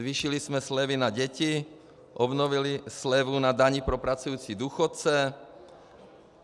Zvýšili jsme slevy na děti, obnovili slevu na daň pro pracující důchodce.